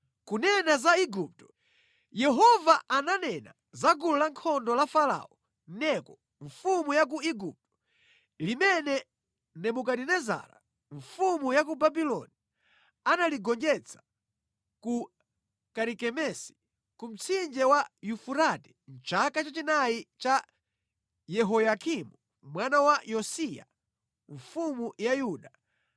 Kunena za Igupto: Yehova ananena za gulu lankhondo la Farao Neko mfumu ya ku Igupto limene Nebukadinezara mfumu ya ku Babuloni analigonjetsa ku Karikemesi ku mtsinje wa Yufurate mʼchaka cha chinayi cha Yehoyakimu mwana wa Yosiya mfumu ya Yuda,